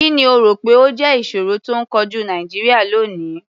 Kì ni o rò pé ó jẹ́ ìṣòro tó ń kojú Nàìjíríà lónìí?